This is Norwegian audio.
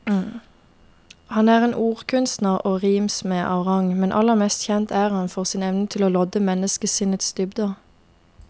Han er en ordkunstner og rimsmed av rang, men aller mest kjent er han for sin evne til å lodde menneskesinnets dybder.